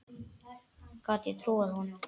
Gat ég trúað honum?